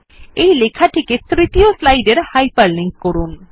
এই লেখাটিকে তৃতীয় স্লাইড এর হাইপারলিংক করুন